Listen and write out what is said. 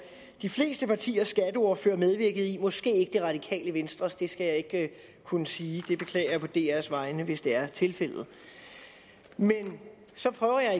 de fleste partiers skatteordførere medvirkede i måske ikke det radikale venstres ordfører det skal jeg ikke kunne sige jeg beklager på dr’s vegne hvis det er tilfældet men så prøver jeg at